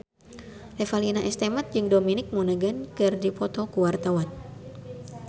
Revalina S. Temat jeung Dominic Monaghan keur dipoto ku wartawan